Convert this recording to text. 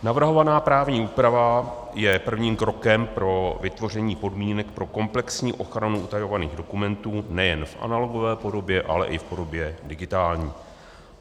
Navrhovaná právní úprava je prvním krokem pro vytvoření podmínek pro komplexní ochranu utajovaných dokumentů nejen v analogové podobě, ale i v podobě digitální.